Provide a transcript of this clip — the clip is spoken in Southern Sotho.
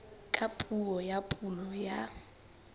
ka puo ya pulo ya